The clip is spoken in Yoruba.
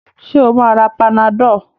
Ṣé ó máa ra panadol?